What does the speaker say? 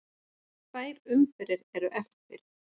Tvær umferðir eru eftir.